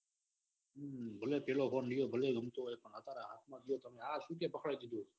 હમ મતલબ પેલો ફોન લિયો ભલે ઊંચો હોય પણ હાથ માં દિયો કે આ સુ પકડાઈ દીધું.